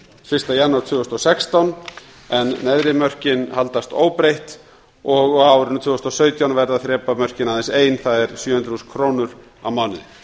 fyrsta janúar tvö þúsund og sextán en neðri mörkin haldast óbreytt og á árinu tvö þúsund og sautján verða þrepamörkin aðeins ein það er sjö hundruð þúsund krónur á mánuði